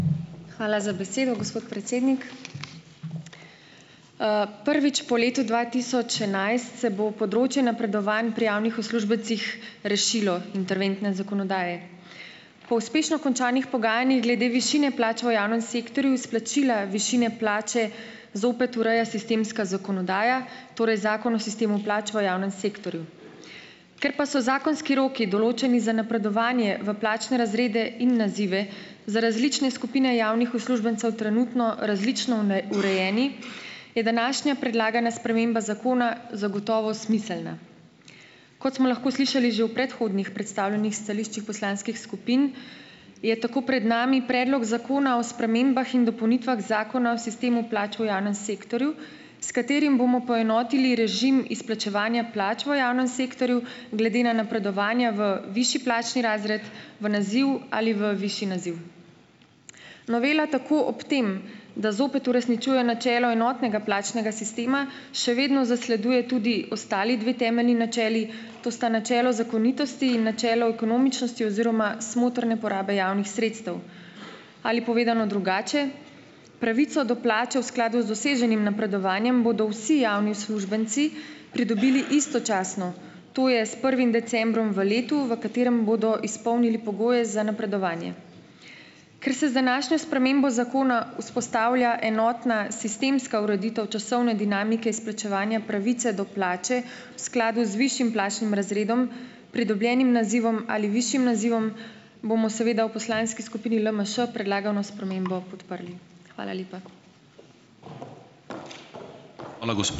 Hvala za besedo, gospod predsednik. Prvič po letu dva tisoč enajst se bo področje napredovanj pri javnih uslužbencih rešilo interventne zakonodaje. Po uspešno končanih pogajanjih glede višine plač v javnem sektorju izplačila višine plače zopet ureja sistemska zakonodaja, torej Zakon o sistemu plač v javnem sektorju. Ker pa so zakonski roki, določeni za napredovanje v plačne razrede in nazive, za različne skupine javnih uslužbencev trenutno različno neurejeni, je današnja predlagana sprememba zakona zagotovo smiselna. Kot smo lahko slišali že v predhodnih predstavljenih stališčih poslanskih skupin, je tako pred nami Predlog zakona o spremembah in dopolnitvah Zakona o sistemu plač v javnem sektorju, s katerim bomo poenotili režim izplačevanja plač v javnem sektorju glede na napredovanja v višji plačni razred, v naziv ali v višji naziv. Novela tako ob tem, da zopet uresničuje načelo enotnega plačnega sistema, še vedno zasleduje tudi ostali dve temeljni načeli, to sta načelo zakonitosti in načelo ekonomičnosti oziroma smotrne porabe javnih sredstev. Ali povedano drugače, pravico do plače v skladu z doseženim napredovanjem bodo vsi javni uslužbenci pridobili istočasno, to je s prvim decembrom v letu, v katerem bodo izpolnili pogoje za napredovanje. Ker se z današnjo spremembo zakona vzpostavlja enotna sistemska ureditev časovne dinamike izplačevanja pravice do plače v skladu z višjim plačnim razredom, pridobljenim nazivom ali višjim nazivom, bomo seveda v poslanski skupini LMŠ predlagano spremembo podprli. Hvala lepa.